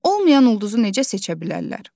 Olmayan ulduzu necə seçə bilərlər?